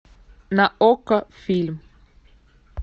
на окко фильм